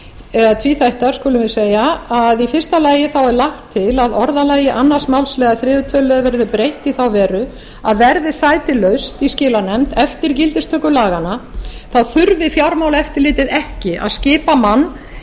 eða tvíþættar skulum við segja í fyrsta lagi er lagt til a orðalagi annars málsliðar þriðja tölulið verði breytt í þá veru að verði sæti laust í skilanefnd eftir gildistöku laganna þurfi fjármálaeftirlitið ekki að skipa mann í